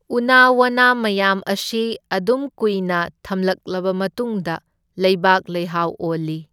ꯎꯅꯥ ꯋꯥꯅꯥ ꯃꯌꯥꯝ ꯑꯁꯤ ꯑꯗꯨꯝ ꯀꯨꯏꯅ ꯊꯝꯂꯛꯂꯕ ꯃꯇꯨꯡꯗ ꯂꯩꯕꯥꯛ ꯂꯩꯍꯥꯎ ꯑꯣꯜꯂꯤ꯫